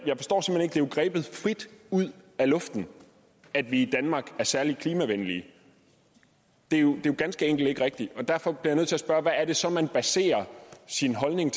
jo grebet ud af luften at vi i danmark er særlig klimavenlige det er jo ganske enkelt ikke rigtigt og derfor bliver jeg at spørge hvad er det så man baserer sin holdning